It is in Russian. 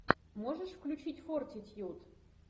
можешь включить фортитьюд